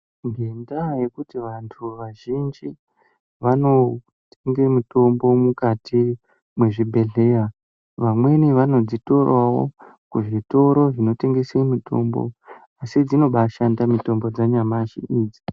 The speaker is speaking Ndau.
Ngendaa yekuti vantu vazhinji vanotenge mitombo mukati mwezvibhedhleya, vamweni vanodzitorawo kuzvitoro zvinotengese mitombo, asi dzinobashanda mitombo dzanyamashi idzi.